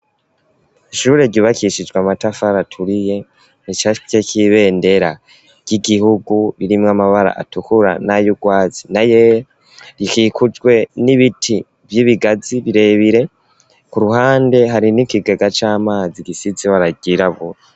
Ishure, ryubakishijwe, amatafari aturiye, ricafyeko, ibendera ry'igihugu, ririmwo amabara, atukura, n'ay'urwatsi, n'ayera; rikikujwe n'ibiti, vy'ibigazi, birebire; ku ruhande, hari n'ikigega c'amazi, gisize ibara ryirabura.